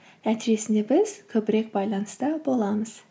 нәтижесінде біз көбірек байланыста боламыз